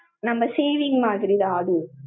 நம்ம saving மாதிரி தான் அதும்.